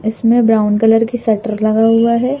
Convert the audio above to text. इसमें brown colour की shutter लगा हुआ है।